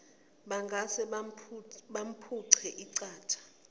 bangase bamphuce iqatha